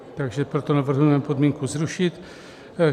Takže proto navrhujeme podmínku zrušit.